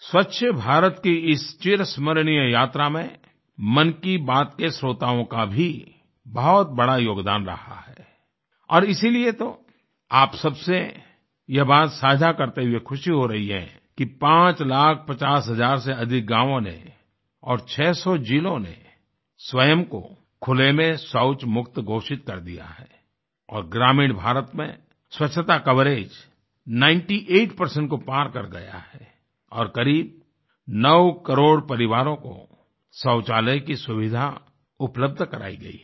स्वच्छ भारत के इस चिरस्मरणीय यात्रा में मन की बात के श्रोताओं का भी बहुत बड़ा योगदान रहा है और इसीलिए तो आप सबसे यह बात साझा करते हुए खुशी हो रही है कि पाँच लाख पचास हज़ार से अधिक गांवों ने और 600 जिलों ने स्वयं को खुले में शौच मुक्त घोषित कर दिया है और ग्रामीण भारत में स्वच्छता कवरेज 98 को पार कर गया है और क़रीब नौ करोड़ परिवारों को शौचालय की सुविधा उपलब्ध करायी गयी है